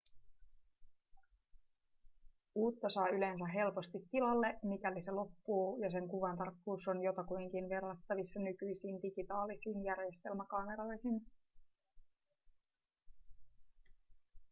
uutta saa yleensä helposti tilalle mikäli se loppuu ja sen kuvatarkkuus on jotakuinkin verrattavissa nykyisiin digitaalisiin järjestelmäkameroihin